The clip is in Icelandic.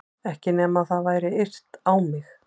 Ekki nema það væri yrt á mig.